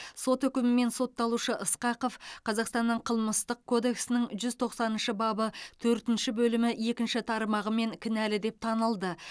сот үкімімен сотталушы ысқақов қазақстанның қылмыстық кодексінің жүз тоқсаныншы бабы төртінші бөлімі екінші тармағымен кінәлі деп танылды